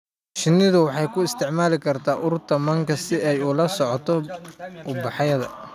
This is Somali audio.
Shinnidu waxay isticmaali kartaa urta manka si ay ula socoto ubaxyada.